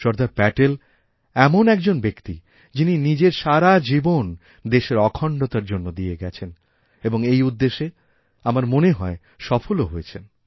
সর্দার প্যাটেল এমন একজন ব্যক্তি যিনি নিজের সারা জীবনদেশের অখণ্ডতার জন্য দিয়ে গেছেন এবং এই উদ্দেশে আমার মনে হয় সফলও হয়েছেন